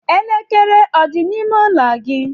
Elekere ọ dị n'ime ụlọ gị?